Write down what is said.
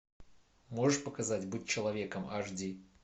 можешь показать быть человеком аш ди